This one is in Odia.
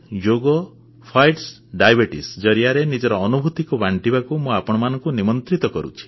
ଯୋଗ ଫାଇଟସ୍ ଡାଇବିଟିଜ୍ ଜରିଆରେ ନିଜର ଅନୁଭୂତି ବାଣ୍ଟିବାକୁ ମୁଁ ଆପଣମାନଙ୍କୁ ନିମନ୍ତ୍ରଣ କରୁଛି